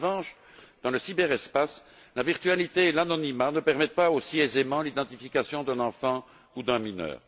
en revanche, dans le cyberespace, la virtualité et l'anonymat ne permettent pas aussi aisément l'identification d'un enfant ou d'un mineur.